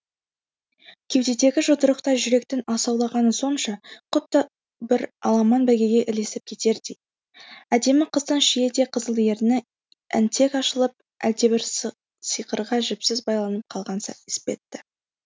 кеудедегі жүдырықтай жүректің асауланғаны сонша құдды бір аламан бәйгеге ілесіп кетердей әдемі қыздың шиедей қызыл ерні әнтек ашылып әлдебір сиқырға жіпсіз байланып қалған іспетті